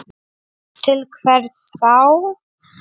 Til hvers þá?